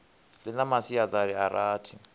ḽi na masiaṱari a rathi